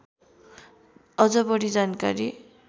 अझ बढी जानकारी